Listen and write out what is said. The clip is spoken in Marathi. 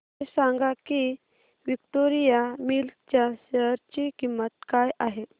हे सांगा की विक्टोरिया मिल्स च्या शेअर ची किंमत काय आहे